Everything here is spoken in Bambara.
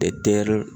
Tɛr